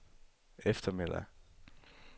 eftermiddag